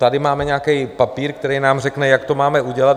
Tady máme nějaký papír, který nám řekne, jak to máme udělat.